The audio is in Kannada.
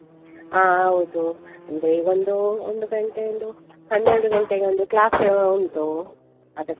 ಹಾ ಹೌದು, ಅಂದ್ರೆ ಈಗ ಒಂದು ಒಂದು ಗಂಟೆ ಒಂದು ಹನ್ನೆರಡು ಗಂಟೆಗೊಂದು class ಉಂಟು, ಅದಕ್ಕೆ.